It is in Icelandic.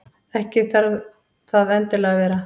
Ekki þarf það endilega að vera.